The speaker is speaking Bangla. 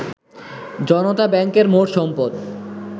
জনতা ব্যাংকের মোট সম্পদ